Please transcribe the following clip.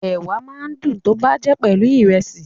Ẹ̀wà máa ń dùn tọ́ bá jẹ́ pelu Ìrẹ́sì